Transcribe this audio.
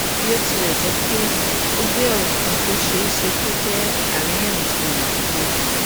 bí ó tilẹ jẹ pé ó gbé ọrọ kan tó ṣeé ṣe kó jẹ àríyànjiyàn dìde